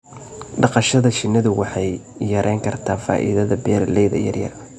dhaqashada shinnidu waxay yarayn kartaa faa'iidada beeralayda yaryar.